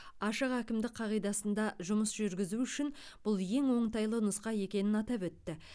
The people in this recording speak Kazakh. ашық әкімдік қағидасында жұмыс жүргізу үшін бұл ең оңтайлы нұсқа екенін атап өтті